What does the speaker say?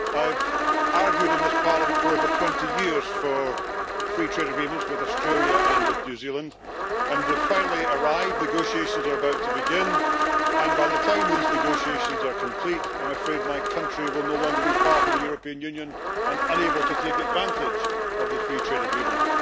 I have argued in this Parliament for over 20 years for free trade agreements with Australia and with New Zealand, and they have finally arrived. Negotiations are about to begin, and by the time these negotiations are complete, I am afraid that my country will no longer be part of the European Union and thus unable to take advantage of the free trade agreement.